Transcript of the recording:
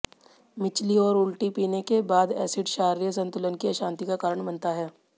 मिचली और उल्टी पीने के बाद एसिड क्षारीय संतुलन की अशांति का कारण बनता है